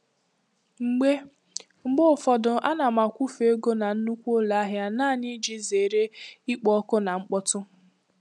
Mgbe Mgbe ụfọdụ ana m akwụfe ego na nnukwu ụlọ ahịa naanị iji zere ikpo ọkụ na mkpọtụ.